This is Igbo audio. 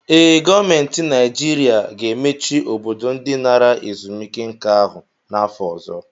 Ee, gọọmentị ga-emechi Obodo ndị nara ezumike nka ahụ n'afọ ọzọ